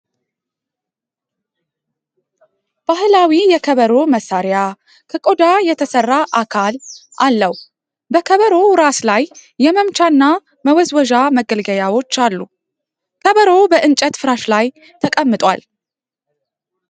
ባህላዊ የከበሮ መሣሪያ ከቆዳ የተሰራ አካል አለው። በከበሮው ራስ ላይ የመምቻና መወዝወዣ መገልገያዎች አሉ። ከበሮው በእንጨት ፍራሽ ላይ ተቀምጧል ።